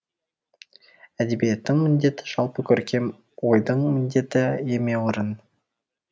әдебиеттің міндеті жалпы көркем ойдың міндеті емеурін